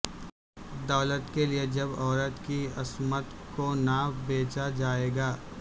دولت کے لئے جب عورت کی عصمت کو نہ بیچا جائے گا